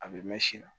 A bɛ mɛn si la